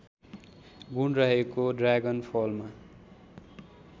गुण रहेको ड्रागनफलमा